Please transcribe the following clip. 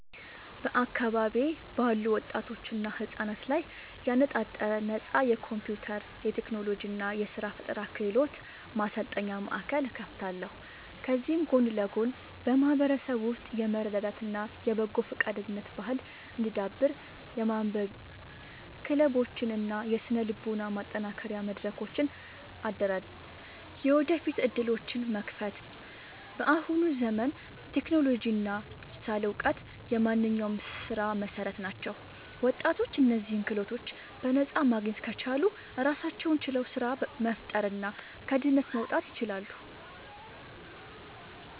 በአካባቢዬ ባሉ ወጣቶችና ህጻናት ላይ ያነጣጠረ ነፃ የኮምፒውተር፣ የቴክኖሎጂ እና የስራ ፈጠራ ክህሎት ማሰልጠኛ ማእከል እከፍታለሁ። ከዚህም ጎን ለጎን በማህበረሰቡ ውስጥ የመረዳዳት እና የበጎ ፈቃደኝነት ባህል እንዲዳብር የማንበቢያ ክለቦችን እና የስነ-ልቦና ማጠናከሪያ መድረኮችን አደራጃለሁ። የወደፊት ዕድሎችን መክፈት፦ በአሁኑ ዘመን ቴክኖሎጂ እና ዲጂታል እውቀት የማንኛውም ስራ መሰረት ናቸው። ወጣቶች እነዚህን ክህሎቶች በነፃ ማግኘት ከቻሉ ራሳቸውን ችለው ስራ መፍጠርና ከድህነት መውጣት ይችላሉ።